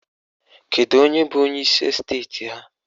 Kedu onye bụ onyeisi esteti ha?